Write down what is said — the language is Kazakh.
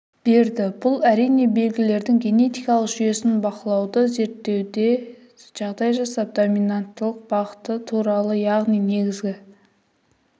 берді бұл әрине белгілердің генетикалық жүйесін бақылауды зерттеуде жағдай жасап доминанттылық бағыты туралы яғни негізі